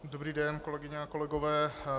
Dobrý den, kolegyně a kolegové.